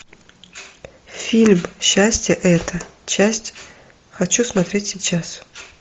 фильм счастье это часть хочу смотреть сейчас